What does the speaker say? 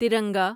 ترنگا